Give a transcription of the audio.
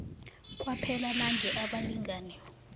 kwaphela nange abalingani